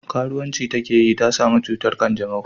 Karuwanci ta ke yi ta samu cutar kyanjamau